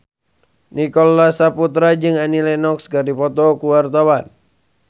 Nicholas Saputra jeung Annie Lenox keur dipoto ku wartawan